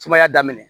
Sumaya daminɛ